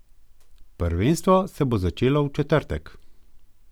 Prvenstvo se bo začelo v četrtek.